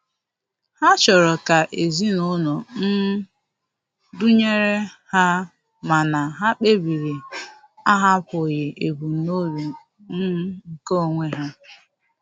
Ha chọrọ ka ezinụlọ um dụnyere ha mana ha kpebiri ahapụghị ebumnobi um nke onwe ha.